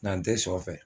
N'an tɛ shɔ fɛ